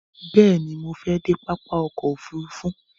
Bẹ̀ẹ̀ni, mo fẹ dé pápá ọkò òfurufú.